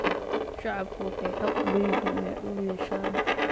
Shacabku waxay xaq u leeyihiin inay dhul yeeshaan.